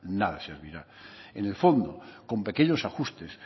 nada servirá en el fondo con pequeños ajustes